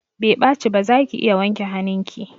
Bai ɓaci ba, zaki iya wanke hanun ki